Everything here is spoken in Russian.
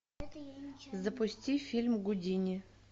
запусти фильм гудини